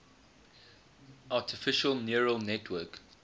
artificial neural network